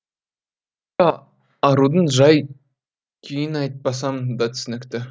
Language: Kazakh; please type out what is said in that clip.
арудың жай күйін айтпасам да түсінікті